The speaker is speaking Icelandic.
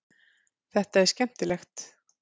Þetta er skemmtilegt.